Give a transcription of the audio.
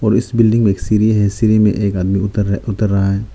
और इस बिल्डिंग में एक सीढ़ी है सीढ़ी में एक आदमी उतर रहा है उतर रहा है।